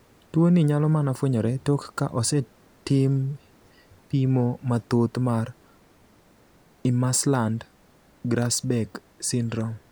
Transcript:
Tuo ni nyalo mana fwenyore tok ka osetim bimo mathoth mar Imerslund Grasbeck syndrome?